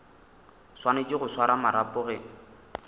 swanetše go swara marapo ge